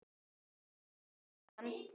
Stundi þungan.